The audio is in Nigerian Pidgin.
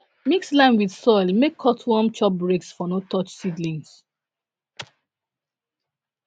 mix lime with soil make cutworms chop breaks for no touch seedlings